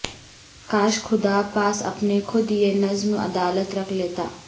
کاش خدا پاس اپنے خود یہ نظم عدالت رکھ لیتا